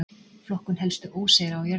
flokkun helstu óseyra á jörðinni